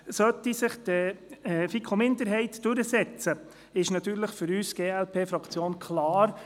Sollte sich die FiKo-Minderheit durchsetzen, ist für uns in der glp-Fraktion klar: